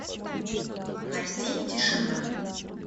найти тишина